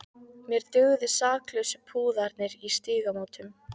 Mér dugðu saklausu púðarnir í Stígamótum!